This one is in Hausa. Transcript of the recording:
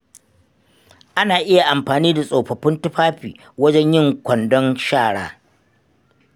Ana iya amfani da tsofaffin tufafi wajen yin kwandon shara.